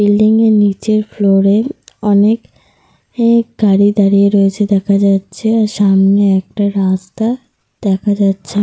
Building -এর নিচের floor -এ অনেক গাড়ি দাঁড়িয়ে রয়েছে দেখা যাচ্ছে। আর সামনে একটা রাস্তা দেখা যাচ্ছে।